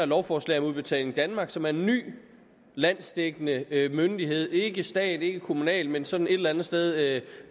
lovforslag om udbetaling danmark som er en ny landsdækkende myndighed ikke stat ikke kommunal men sådan et eller andet sted